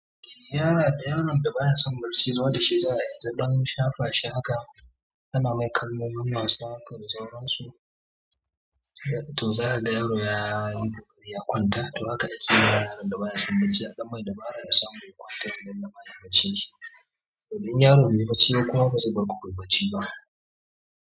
Yara da yaron da baya son barci zuwa da shi za a yi, don shafa shi haka ana mai kallon masu haƙa da sauransu. To za ka ga yaro ya kwanta, to haka ake yi da yaron da baya son barci. A ɗan mai dabara ya samu ya kwanta, a lallaɓa yayi baccin shi. Saboda in yaron bai yi bacci ba kuma ba zai bar ku ku yi bacci ba.